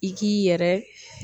I k'i yɛrɛ.